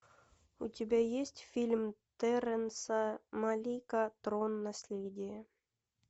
у тебя есть фильм терренса малика трон наследие